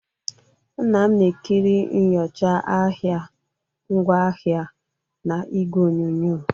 Nna m na-ekiri nyocha ahịa ngwaahịa na igwe onyonyo